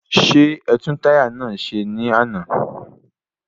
Ṣé ẹtún táyà náà ṣe ní àná?